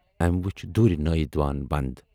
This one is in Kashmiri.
أمۍ وُچھ دوٗرِ نٲیِد وان بنٛد۔